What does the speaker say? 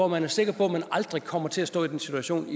man er sikker på at man aldrig kommer til at stå i den situation